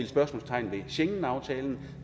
spørgsmålstegn ved schengenaftalen